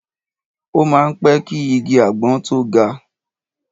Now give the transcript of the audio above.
O má ń pẹ́ ki igi àgbọn tó ga.